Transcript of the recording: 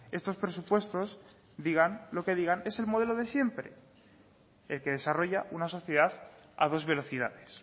estos presupuestos digan lo que digan es el modelo de siempre el que desarrolla una sociedad a dos velocidades